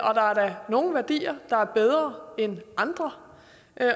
og der er da nogle værdier der er bedre end andre